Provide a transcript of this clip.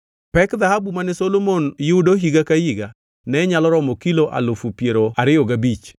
Pek dhahabu mane Solomon yudo higa ka higa ne nyalo romo kilo alufu piero ariyo gabich,